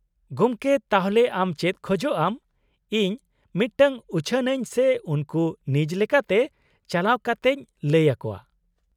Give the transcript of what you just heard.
-ᱜᱚᱢᱠᱮ, ᱛᱟᱦᱞᱮ ᱟᱢ ᱪᱮᱫ ᱠᱷᱚᱡᱚᱜ ᱟᱢ ᱤᱧ ᱢᱤᱫᱴᱟᱝ ᱩᱪᱷᱟᱹᱱ ᱟᱹᱧ ᱥᱮ ᱩᱱᱠᱩ ᱱᱤᱡ ᱞᱮᱠᱟᱛᱮ ᱪᱟᱞᱟᱣ ᱠᱟᱛᱮᱧ ᱞᱟᱹᱭ ᱟᱠᱚᱣᱟ ᱾